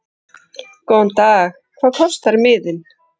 Góðan dag. Hvað kostar miðinn?